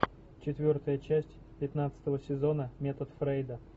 четвертая часть пятнадцатого сезона метод фрейда